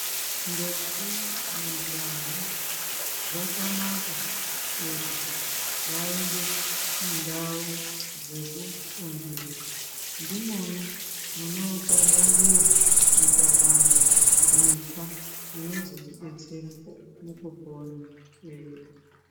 Ndombi, majaha zvakanaka kuti vaende mundau dzekufundira ndimona munokabangiwa mikabango mitsva inozotodetsera mukupona kwedu.